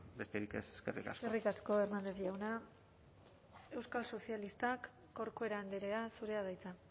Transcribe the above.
besterik ez eskerrik asko eskerrik asko hernández jauna euskal sozialistak corcuera andrea zurea da hitza